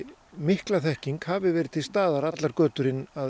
mikla þekking hafi verið til staðar allar götur inn að